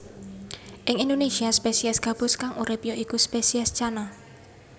Ing Indonésia spesies gabus kang urip ya iku spesies Channa